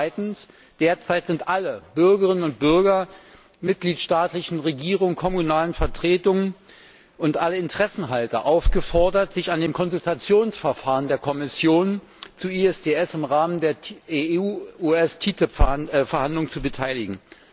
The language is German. Zweitens Derzeit sind alle Bürgerinnen und Bürger, die mitgliedstaatlichen Regierungen, kommunalen Vertretungen und alle Interessenhalter aufgefordert, sich an den Konsultationsverfahren der Kommission zu ISDS im Rahmen der TTIP Verhandlungen zu beteiligen.